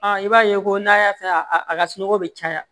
i b'a ye ko n'a y'a fɛn a ka sunɔgɔ bi caya